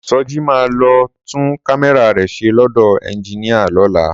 Sọjí máa lọ tún kámẹ́rà rẹ̀ ṣe lọ́dọ̀ ẹnjiníà lọ́la